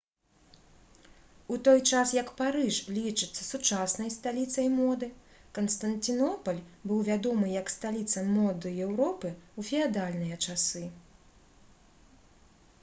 у той час як парыж лічыцца сучаснай сталіцай моды канстанцінопаль быў вядомы як сталіца моды еўропы ў феадальныя часы